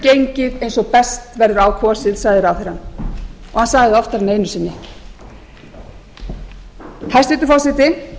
gengið eins og best verður á kosið sagði ráðherrann og hann sagði það oftar en einu sinni hæstvirtur forseti